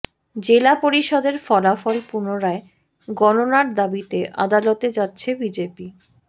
জেলা পরিষদের ফলাফল পুনরায় গণনার দাবিতে আদালতে যাচ্ছে বিজেপি